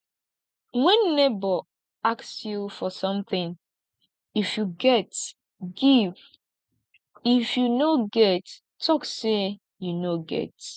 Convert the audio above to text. when neighbor ask you for something if you get give if you no get talk say you no get